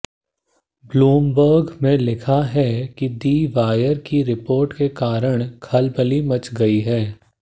Bloomberg ने लिखा है कि दि वायर की रिपोर्ट के कारण खलबली मच गई है